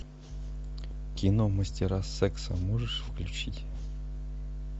кино мастера секса можешь включить